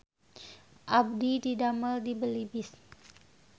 Abdi didamel di Belibis